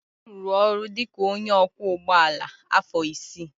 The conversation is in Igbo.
Obi rụrụ ọrụ dị ka onye ọkwọ ụgbọala afọ isii.